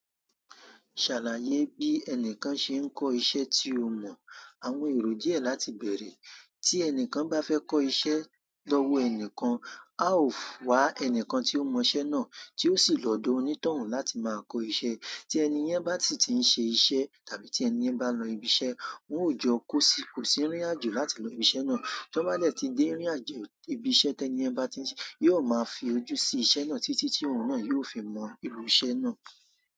Ṣàlàyé bí ẹnìkan ṣe ń kọ́ iṣẹ́ tí ó mọ̀. Àwọn èrò díẹ̀ láti bẹ̀rẹ̀. Tí ẹnìkan bá fẹ́ kọ́ iṣẹ́ lọ́wọ́ ẹnìkan, a ó wa ẹni tí ó mọ iṣẹ́ náà, tí ó sì lọ́dọ̀ onítọ̀hún láti máa kọ́ iṣẹ́. Tí ẹni yẹn bá ti ti ń ṣe iṣẹ́ tàbí tí ẹni yẹn bá lọ ibi iṣẹ́, wọn ó jọ kó sí kò sì rìnrìn àjò láti lọ ibi iṣẹ́ náà. Tí wọ́n bá lè ti dé rìnrìn àjò ibi iṣẹ́ tí ẹni yẹn bá ti ń ṣe, yóò máa fi ojú sí iṣẹ́ náà títí tí òun náà yóò fi mọ ìlú iṣẹ́ náà.